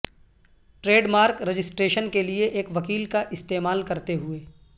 trade mark registration کے لئے ایک وکیل کا استعمال کرتے ہوئے